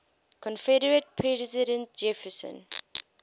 confederate president jefferson